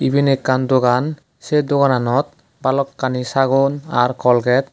eben ekkan dogan sey dogananot balokkani sagon r kolget.